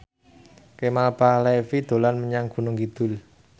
Kemal Palevi dolan menyang Gunung Kidul